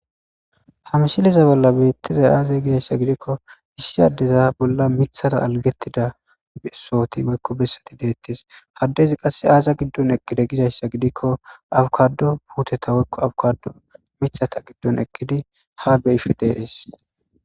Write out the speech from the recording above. hamsiliza bolla beettizay aazay gizayssa gidikko isshi addeza bolla mithata algettida sooti goykko bessati deettes haddezi qass aaza giddon ekkide gizayssa gidikko awukado puuteta woykko awukado mithata giddon ekkidi ha beyif deees